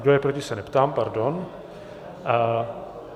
Kdo je proti, se neptám, pardon.